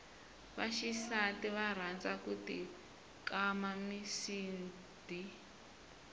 vaxisati va rhanza ku ti kama misidi